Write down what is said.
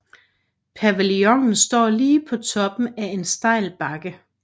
Pavillonen står lige på toppen af en stejl bakke